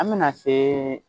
An bɛna se